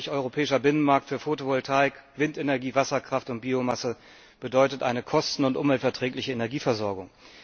Ein wirklich europäischer Binnenmarkt für Fotovoltaik, Windenergie, Wasserkraft und Biomasse bedeutet eine kosten und umweltverträgliche Energieversorgung.